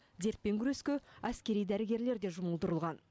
дертпен күреске әскери дәрігерлер де жұмылдырылған